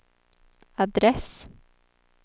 adress